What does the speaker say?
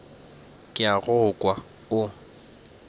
ke a go kwa o